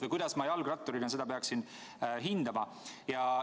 Või kuidas ma jalgratturina peaksin seda hindama?